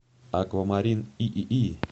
аквамарин иии